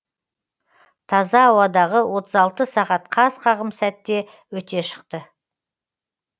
таза ауадағы отыз алты сағат қас қағым сәтте өте шықты